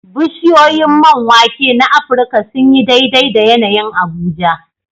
Bishiyoyin man wake na Afirka sun yi daidai da yanayin Abuja.